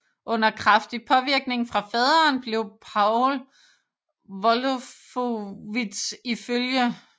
Under kraftig påvirkning fra faderen blev Paul Wolfowitz iflg